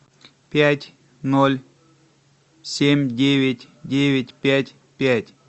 пять ноль семь девять девять пять пять